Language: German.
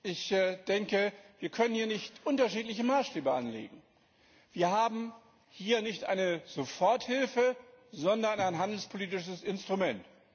Ich denke, dass wir hier nicht unterschiedliche Maßstäbe anlegen können. Wir haben hier nicht eine Soforthilfe, sondern ein handelspolitisches Instrument.